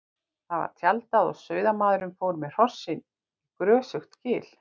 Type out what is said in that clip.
Þar var tjaldað og sauðamaður fór með hrossin í grösugt gil.